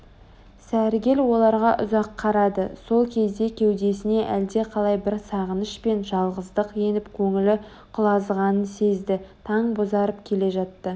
сәргел оларға ұзақ қарады сол кезде кеудесіне әлде қалай бір сағыныш пен жалғыздық еніп көңілі құлазығанын сезді таң бозарып келе жатты